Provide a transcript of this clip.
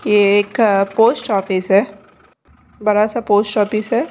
ये एक पोस्टऑफिस है बड़ा सा पोस्टऑफिस है।